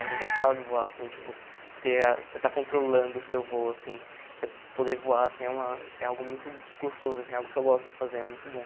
É engraçado voar, assim, tipo, ter a você está controlando o seu voo, assim, você poder voar, assim, é uma é algo muito gostoso, assim, é algo que eu gosto de fazer, é muito bom.